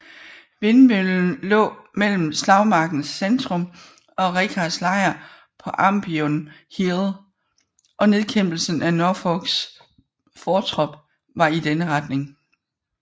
Vindmøllen lå mellem slagmarkens centrum og Richards lejr på Ambion Hill og nedkæmpelsen af Norfolks fortrop var i denne retning